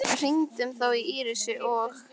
Við hringdum þó í Írisi og